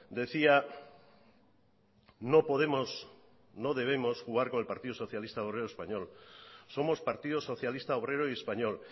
decía no podemos no debemos jugar con el partido socialista de obrero español somos partido socialista obrero y español